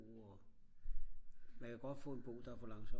men kan godt få en bog der er for langsom